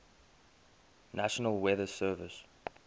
national weather service